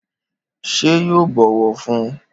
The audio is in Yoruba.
Ṣé yóò bọwọ fún?